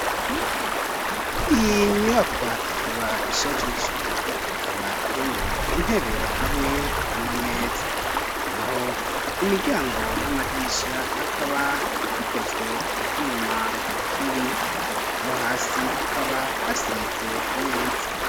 Iyi nyubakwa, ikaba ishajije; ikaba irimwo intebe, hamwe n'amameza; naho imiryango, n'amadirisha, akaba bikozwe mu vyuma, n'ibiyo; naho hasi, hakaba hasize neza.